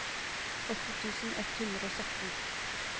åtti tusen ett hundre og sytten